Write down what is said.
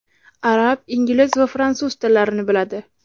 Arab, ingliz va fransuz tillarini biladi.